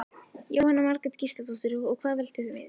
Jóhanna Margrét Gísladóttir: Og hvað veldur því?